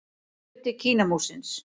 Hluti Kínamúrsins.